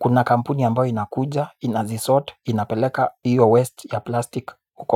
kuna kampuni ambayo inakuja, inazisort, inapeleka hiyo waste ya plastik.